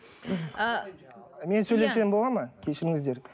мен сөйлесем болады ма кешіріңіздер